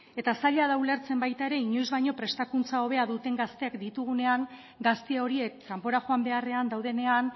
eta zaila da ulertzen baita ere inoiz baino prestakuntza hobea duten gazteak ditugunean gazte horiek kanpora joan beharrean daudenean